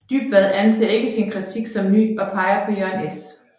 Dybvad anser ikke sin kritik som ny og peger på Jørgen S